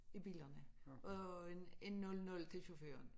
I bilerne og en en 0 0 til chaufføren